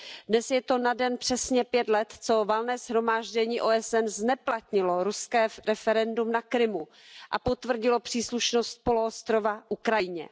Dnes je to na den přesně 5 let, co Valné shromáždění OSN zneplatnilo ruské referendum na Krymu a potvrdilo příslušnost poloostrova Ukrajině.